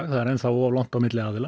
það er enn of langt á milli aðila